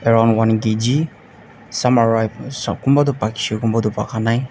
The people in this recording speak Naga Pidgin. some are ripe kunba toh pakishey kunba toh pakanai.